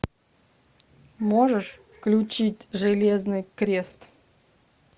можешь включить железный крест